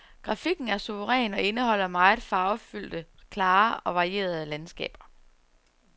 Grafikken er suveræn og indeholder meget farvefyldte, klare og varierede landskaber.